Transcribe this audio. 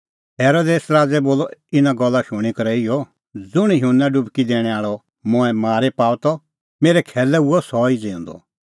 हेरोदेस राज़ै बोलअ इना गल्ला शूणीं करै इहअ ज़ुंण युहन्ना डुबकी दैणैं आल़अ मंऐं मारी पाअ त मेरै खैलै हुअ सह ई ज़िऊंदअ